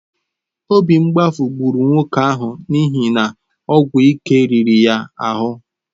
Obi mgbafu gburu nwoke ahụ n’ihi na ọgwụ ike riri ya ahụ.